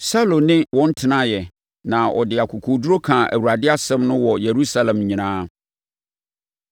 Saulo ne wɔn tenaeɛ na ɔde akokoɔduru kaa Awurade asɛm no wɔ Yerusalem nyinaa.